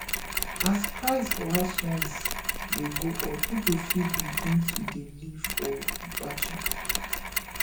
as price for house rent de go up pipo fit begin to de live for batcha